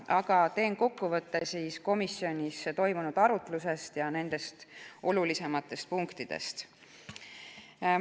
Aga teen kokkuvõtte komisjonis toimunud arutlusest ja olulisematest punktidest seal.